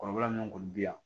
Kɔrɔbaya min kɔni bi yan